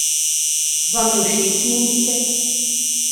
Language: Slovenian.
Vam je všeč njen videz?